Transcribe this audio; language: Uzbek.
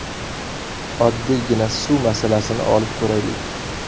Oddiygina suv masalasini olib ko‘raylik.